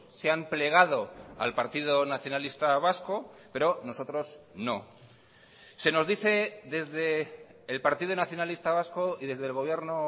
se han plegado al partido nacionalista vasco pero nosotros no se nos dice desde el partido nacionalista vasco y desde el gobierno